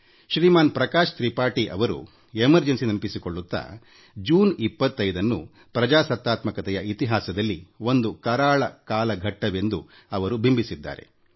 ಶ್ರೀಮಾನ್ ಪ್ರಕಾಶ್ ತ್ರಿಪಾಠಿ ಅವರು ತುರ್ತುಪರಿಸ್ಥಿತಿಯನ್ನು ನೆನಪಿಸಿಕೊಳ್ಳುತ್ತಾ ಜೂನ್ 25 ನ್ನು ಪ್ರಜಾಪ್ರಭುತ್ವದ ಇತಿಹಾಸದಲ್ಲಿ ಒಂದು ಕರಾಳ ಕಾಲಘಟ್ಟವೆಂದು ಬಣ್ಣಿಸಿದ್ದಾರೆ